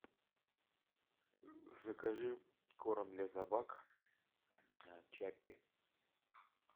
закажи корм для собак чаппи